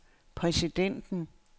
præsidenten